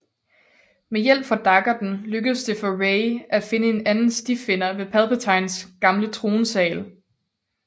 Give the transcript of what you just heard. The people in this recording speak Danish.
Med hjælp fra daggerten lykkes det for Rey at finde en anden stifinder ved Palpatines gamle tronsal